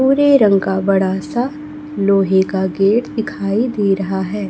भूरे रंग का बड़ा सा लोहे का गेट दिखाई दे रहा है।